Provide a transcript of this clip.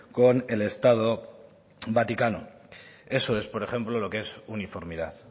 con el estado vaticano eso es por ejemplo lo que es uniformidad